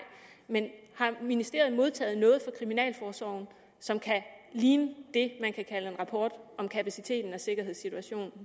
men om ministeriet har modtaget noget fra kriminalforsorgen som kan ligne det man kan kalde en rapport om kapaciteten og sikkerhedssituationen